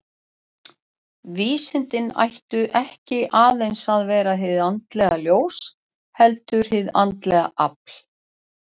Vísindin ættu ekki aðeins að vera hið andlega ljós, heldur og hið andlega afl.